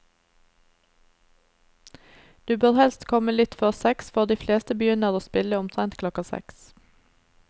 Du bør helst komme litt før seks, for de fleste begynner å spille omtrent klokka seks.